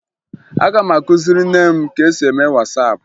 Aga m akụziri nne m ka e si eme Wasaapụ